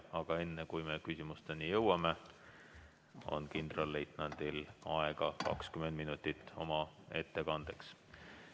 Aga enne, kui me küsimusteni jõuame, on kindralleitnandil aega 20 minutit ettekandeks.